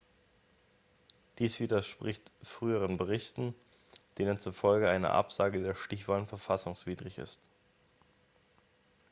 dies widerspricht früheren berichten denen zufolge eine absage der stichwahlen verfassungswidrig ist